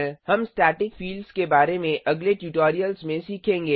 हम static fields के बारे में अगले ट्यूटोरियल्स में सीखेंगे